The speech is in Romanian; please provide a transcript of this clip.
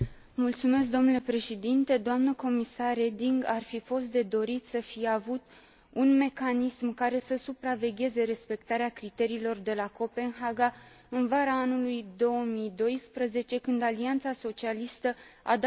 Ar fi fost de dorit să fi avut un mecanism care să supravegheze respectarea criteriilor de la Copenhaga în vara lui 2012, când alianța socialistă a dat lovitura de stat în România.